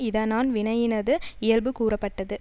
இதனான் வினையினது இயல்பு கூறப்பட்டது